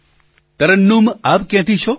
પ્રધાનમંત્રી તરન્નુમ આપ ક્યાંથી છો